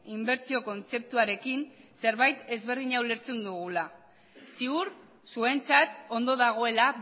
inbertsio kontzeptuarekin zerbait ezberdina ulertzen dugula ziur zuentzat ondo dagoela